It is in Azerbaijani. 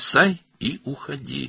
At və get.